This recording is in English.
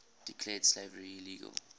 declared slavery illegal